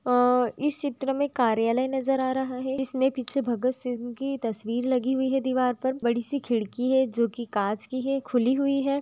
अअ इस चित्र मैं कार्यालय नज़र आ रहा है जिसमे पीछे भगतसिंह की तस्वीर लगी हुई है दिवार पर बड़ी सी खिड़की है जो की कांच की है खुली हुई है।